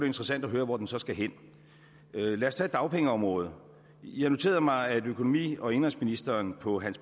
interessant at høre hvor den så skal hen og lad os tage dagpengeområdet jeg noterede mig at økonomi og indenrigsministeren på